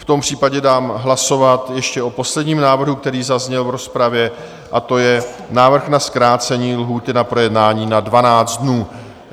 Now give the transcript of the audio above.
V tom případě dám hlasovat ještě o posledním návrhu, který zazněl v rozpravě, a to je návrh na zkrácení lhůty na projednání na 12 dnů.